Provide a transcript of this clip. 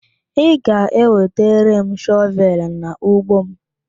Ị ga-ewetara m shọvelụ n'ugbo m?